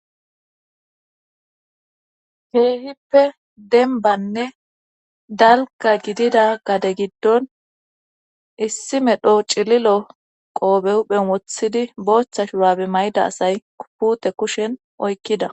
keehippe dembanne dalka gidida gade giddon issi medho cililo qoobe huphen wothidi boochtha shurabe mayda asay pute kushen oykkida